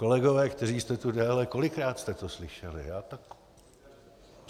Kolegové, kteří jste tu déle, kolikrát jste to slyšeli?